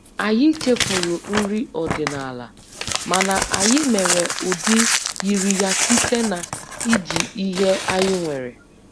Anyị chefuru nri ọdịnala, mana anyị mere ụdị yiri ya site na iji ihe anyị nwere